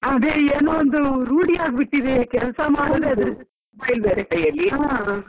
ಅದೇ ಏನೋ ಅದು ರೂಢಿಯಾಗಿ ಬಿಟ್ಟಿದೆ ಕೆಲ್ಸ ಮಾಡುದೇ .